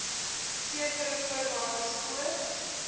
sekere voorwaardes voor